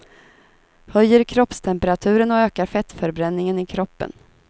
Höjer kroppstemperaturen och ökar fettförbränningen i kroppen.